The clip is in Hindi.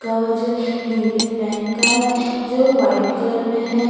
कवज यूनियन बैंक का है जो व्हाईट कलर में है।